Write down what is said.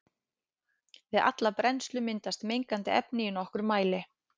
Við alla brennslu myndast mengandi efni í nokkrum mæli.